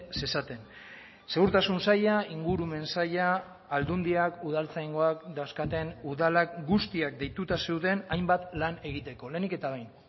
zezaten segurtasun saila ingurumen saila aldundiak udaltzaingoak dauzkaten udalak guztiak deituta zeuden hainbat lan egiteko lehenik eta behin